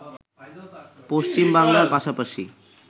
পশ্চিম বাংলার পাশাপাশি